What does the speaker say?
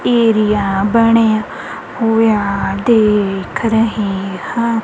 Area ਬਣਿਆ ਹੋਇਆ ਦੇਖ ਰਹੇ ਹਾਂ।